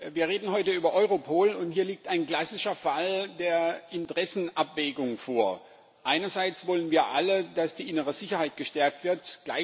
Wir reden heute über Europol, und hier liegt ein klassischer Fall der Interessenabwägung vor. Einerseits wollen wir alle, dass die innere Sicherheit gestärkt wird.